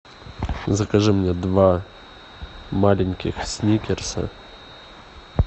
закажи мне два маленьких сникерса